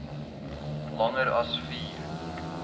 langer as vier